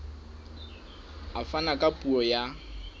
a fana ka puo ya